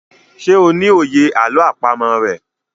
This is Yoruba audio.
ṣe o ní òye àlọ́ àpamọ̀ rẹ?